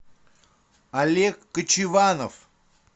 олег кочеванов